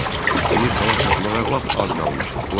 İndi sala çatmağa lap az qalmışdı.